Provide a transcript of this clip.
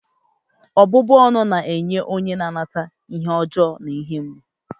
ọbụbụ ọnụ na-enye onye na-anata ihe ọjọọ na ihe mgbu